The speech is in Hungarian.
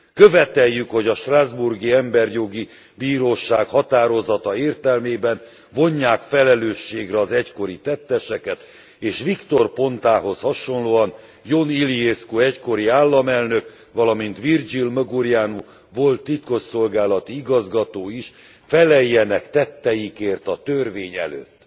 Követeljük, hogy a strasbourgi emberjogi bíróság határozata értelmében vonják felelősségre az egykori tetteseket, és Victor Pontához hasonlóan Ion Iliescu egykori államelnök, valamint Virgil Măgureanu volt titkosszolgálati igazgató is feleljenek tetteikért a törvény előtt.